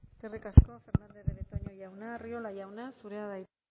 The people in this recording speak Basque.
eskerrik asko fernandez de betoño jauna arriola jauna zurea da hitza